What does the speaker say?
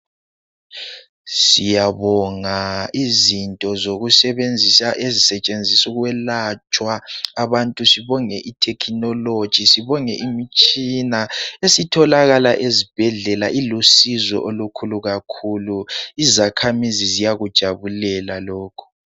Siyabonga izinto zokusebenzisa ezisetshenziswa ukwelatshwa abantu . Sibonge ithekinoloji, sibonge imitshina esitholakala ezibhedlela ilusizo olukhulu kakhulu . Izakhamizi ziyakujabulela lokhu.